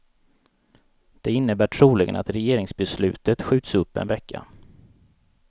Det innebär troligen att regeringsbeslutet skjuts upp en vecka.